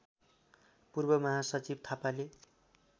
पूर्व महासचिव थापाले